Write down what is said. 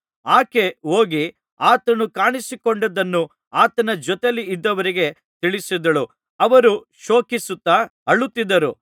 ಆಕೆ ಹೋಗಿ ಆತನು ಕಾಣಿಸಿಕೊಂಡದ್ದನ್ನು ಆತನ ಜೊತೆಯಲ್ಲಿದ್ದವರಿಗೆ ತಿಳಿಸಿದಳು ಅವರು ಶೋಕಿಸುತ್ತಾ ಅಳುತ್ತಿದ್ದರು